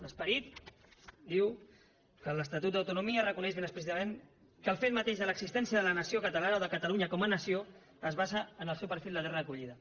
l’esperit diu que l’estatut d’autonomia reconeix ben explícitament que el fet mateix de l’existència de la nació catalana o de catalunya com a nació es basa en el seu perfil de terra d’acollida